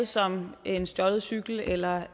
som en stjålet cykel eller